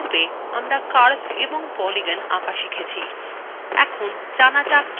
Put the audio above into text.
পূর্বে আমরা curves এবং polygons আঁকা শিখেছি এখন জানা যাক কিভাবে তাদের edit করা যায়